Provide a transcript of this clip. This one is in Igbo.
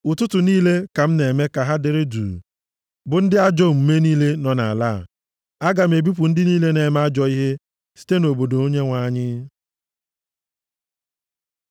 Ụtụtụ niile ka m na-eme ka ha dere duu bụ ndị ajọ omume niile nọ nʼala a; Aga m ebipụ ndị niile na-eme ajọ ihe site nʼobodo Onyenwe anyị.